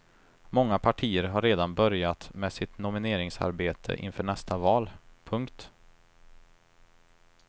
Många partier har redan börjat med sitt nomineringsarbete inför nästa val. punkt